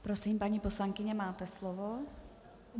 Prosím, paní poslankyně, máte slovo.